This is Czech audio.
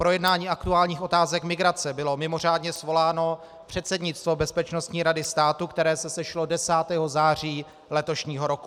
K projednání aktuálních otázek migrace bylo mimořádně svoláno předsednictvo Bezpečnostní rady státu, které se sešlo 10. září letošního roku.